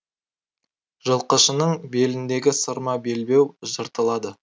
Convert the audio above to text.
жылқышының беліндегі сырма белбеу жыртылады